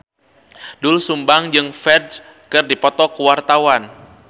Doel Sumbang jeung Ferdge keur dipoto ku wartawan